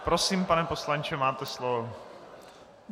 Prosím, pane poslanče, máte slovo.